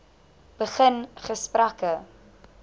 begin gesprekke